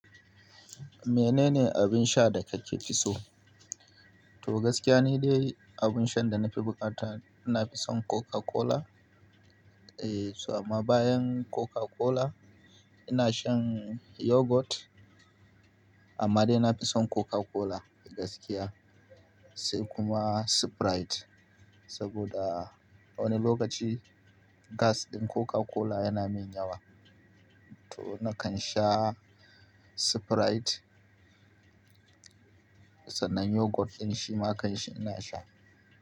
Menene abin sha da kake fi so? To gaskiya nidai abin shan da na fi bukata ina fi son Coca-Cola. Eh, so amma bayan Coca-Cola ina shan Yogurt. Amma dai na fi son Coca-Cola gaskiya, sai kuma Sprite. Saboda wani lokaci gas din Coca-Cola yana min yawa. To nakan sha Sprite. Sannan yogurt din shima kanshi ina sha.